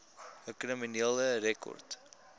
u kriminele rekord